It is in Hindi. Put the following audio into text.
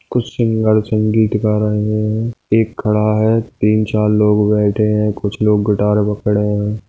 कुछ सिंगर्स संगीत सीख रहे है एक खड़ा है तीन चार लोग बैठे है कुछ लोग गिटार पकड़े है।